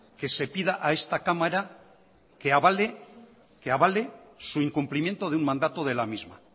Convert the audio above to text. que se pida a esta cámara que avale su incumplimiento de un mandato de la misma